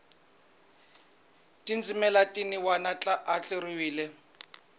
tindzimana tin wana ti andlariwe